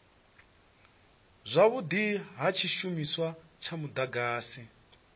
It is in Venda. zwavhudi ha tshishumiswa tsha mudagasi